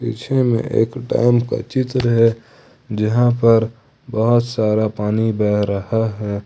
पीछे में एक डैम का चित्र है जहां पर बहोत सारा पानी बह रहा है।